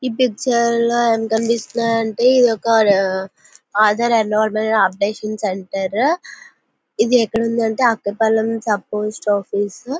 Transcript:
ఈ పిక్చర్ లో ఏం కనిపిస్తుంది అంటే ఇది ఒక ఆధార్ ఎన్రోల్మెంట్ అప్డేషన్ సెంటర్ ఇది ఎక్కడుంది అంటే అక్కయ్యపాలెం సబ్ పోస్ట్ ఆఫీసు .